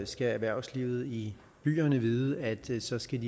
skal erhvervslivet i byerne vide at de så skal